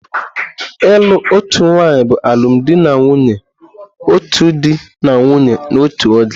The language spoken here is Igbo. Ịlụ otu nwanyị bụ alụmdi na nwunye otu di na nwunye n'otu oge.